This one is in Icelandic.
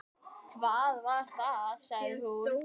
Hvað var það? sagði hún.